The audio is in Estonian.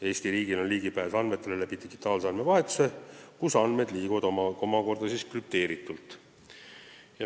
Eesti riigil on ligipääs andmetele digitaalse andmevahetuse kaudu, kus andmed liiguvad omakorda krüpteeritult.